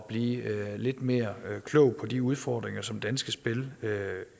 blive lidt mere klog på de udfordringer som danske spil